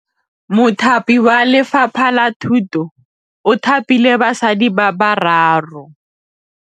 Mothapi wa Lefapha la Thutô o thapile basadi ba ba raro.